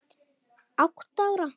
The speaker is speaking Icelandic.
Átta ára